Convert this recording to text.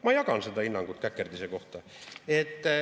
Ma jagan seda hinnangut käkerdise kohta.